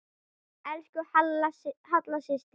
Elsku Halla systir.